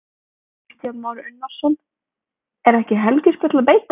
Kristján Már Unnarsson: Er ekki helgispjöll að beita?